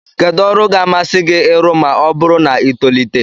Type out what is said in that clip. Kedụ ọrụ ga-amasị gị ịrụ ma ọ bụrụ na i tolite?